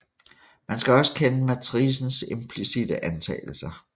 Man skal også kende matricens implicitte antagelser